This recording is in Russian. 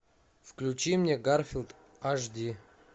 включи мне гарфилд аш ди